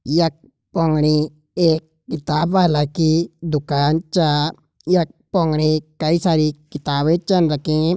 यक पौणी एक किताब वाला की दुकान चा। यक पौणे कई सारी किताबें चन रखीं।